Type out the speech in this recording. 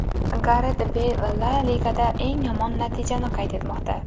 Garet Beyl La Ligada eng yomon natijasini qayd etmoqda.